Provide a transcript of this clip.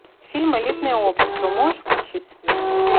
фильм элитное общество можешь включить